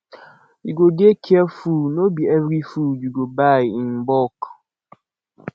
you go dey careful no be every food you buy in bulk